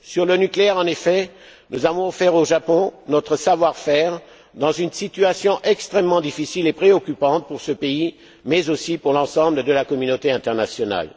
Sur le nucléaire, en effet, nous avons offert au Japon notre savoir faire, dans une situation extrêmement difficile et préoccupante pour ce pays, mais aussi pour l'ensemble de la communauté internationale.